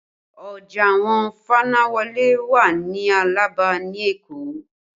Ọjà àwọn fanáwọlé wà ní Alaba ní Èkó